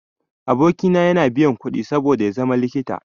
Aboki na ya biya kuɗi saboda ya zama likita.